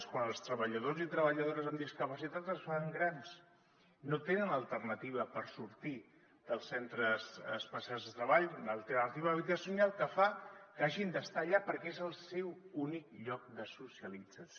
quan els treballadors i treballadores amb discapacitat es fan grans no tenen alternativa per sortir dels centres especials de treball una alternativa habitacional que fa que hagin d’estar allà perquè és el seu únic lloc de socialització